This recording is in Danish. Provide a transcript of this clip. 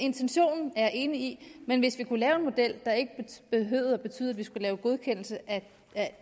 intentionen er jeg enig i men hvis vi kunne lave en model der ikke behøvede at betyde at vi skulle lave godkendelse af